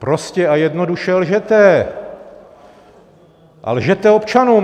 Prostě a jednoduše lžete a lžete občanům.